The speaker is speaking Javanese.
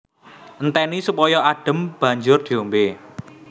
Entèni supaya adhem banjur diombé